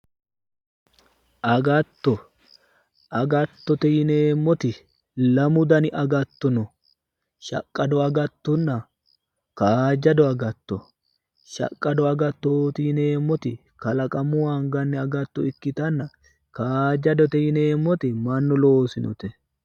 Agatto, agattote yinneemmoti lamu danni agatto no, shaqqado agattonna kaajjado agatto ,shaqqado agattoti yinneemmoti kalaqamunni angeemmo agatto ikkittanna kaajjadote yinneemmoti mannu loosinote.